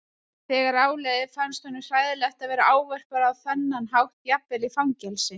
Þegar á leið fannst honum hræðilegt að vera ávarpaður á þennan hátt jafnvel í fangelsi.